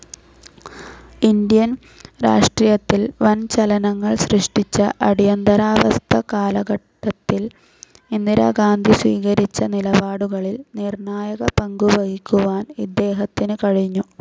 Indian രാഷ്ട്രീയത്തിൽ വൻ ചലനങ്ങൾ സൃഷ്ടിച്ച അടിയന്തരാവസ്ഥ കാലഘട്ടത്തിൽ ഇന്ദിരാഗാന്ധി സ്വീകരിച്ച നിലപാടുകളിൽ നിർണായക പങ്കുവഹിക്കുവാൻ ഇദ്ദേഹത്തിനു കഴിഞ്ഞു.